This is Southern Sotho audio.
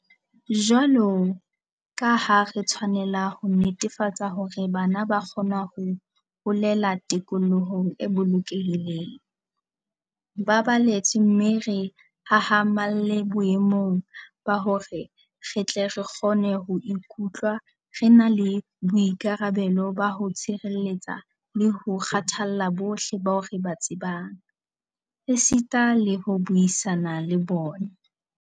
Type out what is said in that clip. Jwalo ka ha re tshwanela ho netefatsa hore bana ba kgona ho holela tikolohong e bolokehileng, ba baletswe mme re hahamalle boemong ba hore re tle re kgone ho ikutlwa re na le boikarabelo ba ho tshireletsa le ho kgathalla bohle bao re ba tsebang. Esita le ho buisana le bona.